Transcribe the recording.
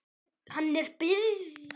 Hann er byrjaður að naga neglurnar.